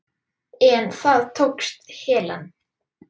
En það tókst Helen.